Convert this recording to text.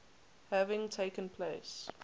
having taken place